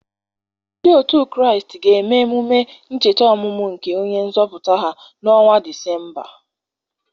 Ndị otu Kraịst ga-eme emume ncheta ọmụmụ nke onye nzọpụta ha na ọnwa Disemba.